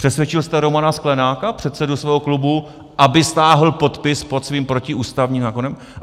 Přesvědčil jste Romana Sklenáka, předsedu svého klubu, aby stáhl podpis pod svým protiústavním zákonem?